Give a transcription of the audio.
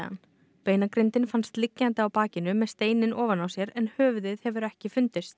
beinagrindin fannst liggjandi á bakinu með steininn ofan á sér en höfuðið hefur ekki fundist